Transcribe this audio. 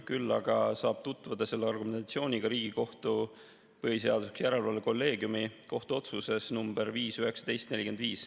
Küll aga saab selle argumentatsiooniga tutvuda Riigikohtu põhiseaduslikkuse järelevalve kolleegiumi kohtuotsuses nr 5‑19‑45.